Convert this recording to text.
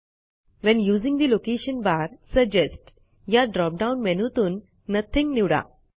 when using the location bar suggest या drop down मेनूतूनNothing निवडा